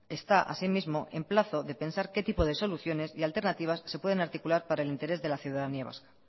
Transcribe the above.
está asimismo en plazo de pesar que tipo de soluciones y alternativas se pueden articular para el interés de la ciudadanía vasca